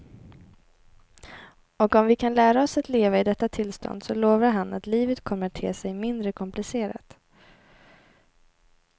Och om vi kan lära oss att leva i detta tillstånd så lovar han att livet kommer att te sig mindre komplicerat.